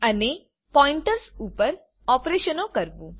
અને પોઈન્ટર્સ ઉપર ઓપરેશનો કરવું